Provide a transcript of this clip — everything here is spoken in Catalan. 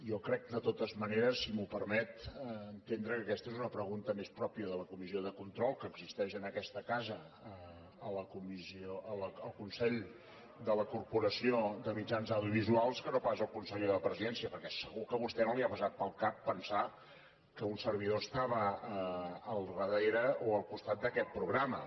jo crec de totes maneres si m’ho permet entendre que aquesta és una pregunta més pròpia de la comissió de control que existeix en aquesta casa al consell de la corporació de mitjans audiovisuals que no pas al conseller de la presidència perquè segur que a vostè no li ha passat pel cap pensar que un servidor estava al darrere o al costat d’aquest programa